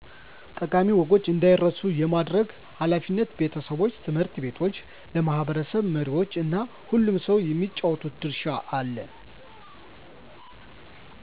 ጠቃሚ ወጎች እንዳይረሱ የማድረግ ኃላፊነት ቤተሰቦች፣ ት/ ቤቶች፣ ለማህበረሰብ መሪዎች እና ሁሉም ሰው የሚጫወተው ድርሻ አለ።